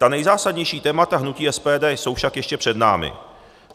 Ta nejzásadnější témata hnutí SPD jsou však ještě před námi.